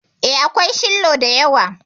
E, akwai shillo da yawa.